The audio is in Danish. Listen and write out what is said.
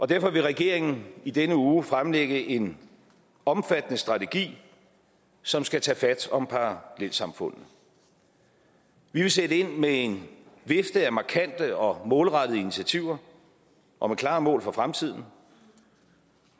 derfor vil regeringen i denne uge fremlægge en omfattende strategi som skal tage fat om parallelsamfundene vi vil sætte ind med en vifte af markante og målrettede initiativer og med klare mål for fremtiden